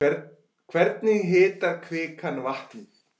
Hvernig hitar kvikan vatnið?